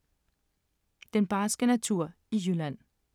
Den barske natur i Jylland